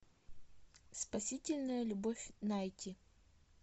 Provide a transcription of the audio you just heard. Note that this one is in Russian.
спасительная любовь найти